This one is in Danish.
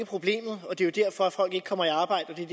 problemet og det er derfor at folk ikke kommer i arbejde